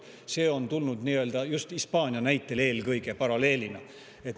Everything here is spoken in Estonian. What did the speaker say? See paralleel on tulnud eelkõige just Hispaania näitel.